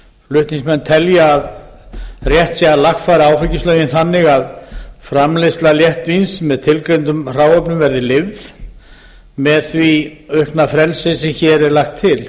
flutningsmenn telja að rétt sé að lagfæra áfengislögin þannig að framleiðsla léttvíns með tilgreindum hráefnum verði leyfð með því aukna frelsi sem hér er lagt til